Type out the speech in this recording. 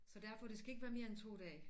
Så derfor det skal ikke være mere end 2 dage